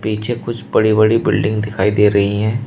पीछे कुछ बड़ी बड़ी बिल्डिंग दिखाई दे रही हैं।